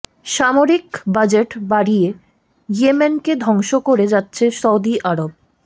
সামরিক বাজেট বাড়িয়ে ইয়েমেনকে ধ্বংস করে যাচ্ছে সৌদি আরব